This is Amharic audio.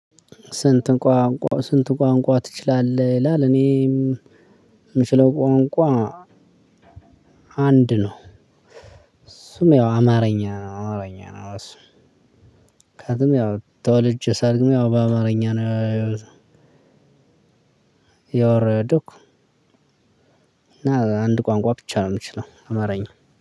ስንት? ቋንቋ ትችላለህ ይላል እኔም የምችለው ቋንቋ። አንድ ነው እሱም ያው አማርኛ ነው አማርኛ ነው እሱም። ምክንያቱም ተወለጄ ሳልግም ያው በአማርኛ ነው ያወራሁት። ይወረዱክ። እና አንድ ቋንቋ ብቻ ነው የምችለው አማረኛ